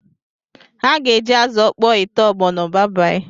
Ha ga-eji azụ ọkpọ ete ọgbọnọ